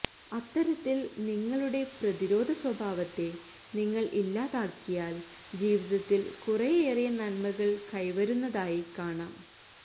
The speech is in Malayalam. അത്തരത്തില് നിങ്ങളുടെ പ്രതിരോധ സ്വഭാവത്തെ നിങ്ങള് ഇല്ലാതാക്കിയാല് ജീവിതത്തില് കുറെയേറെ നന്മകള് കൈവരുന്നതായി കാണാം